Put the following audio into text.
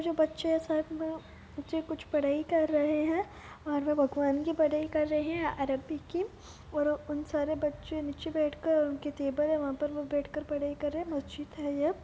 जो बच्चे है साथ में बच्चे कुछ पढाई कर रहे है और वो भगवान की पढाई कर रहे है अरब्बी की और उन सारे बच्चे नीचे बेठ कर उनकी टेबल है वहा पर बेठ कर पढाई कर रहे है मस्जिद है ये।